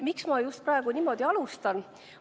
Miks ma praegu just niimoodi alustan?